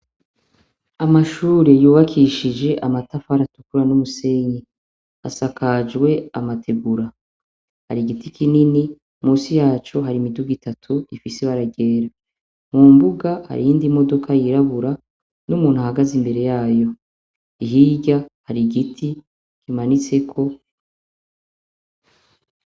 Amashure yubakishije amatafari atukura n'umusenyi, asakajwe amategura, har'igiti kinini munsi yaco har'imidoga itatu ifise ibara ryera, mumbuga har'iyindi modoka yirabura numuntu ahagaze imbere yayo, hirya har'igiti kimanitseko.